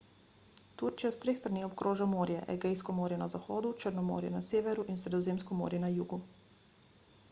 turčijo s treh strani obkroža morje egejsko morje na zahodu črno morje na severu in sredozemsko morje na jugu